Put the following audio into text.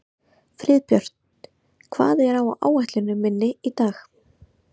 Friðbjört, hvað er á áætluninni minni í dag?